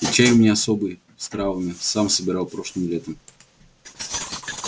и чай у меня особый с травами сам собирал прошлым летом